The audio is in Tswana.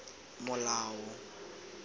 molao